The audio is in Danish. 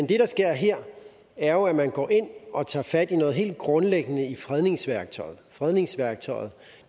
der sker her er jo at man går ind og tager fat i noget helt grundlæggende i fredningsværktøjet fredningsværktøjet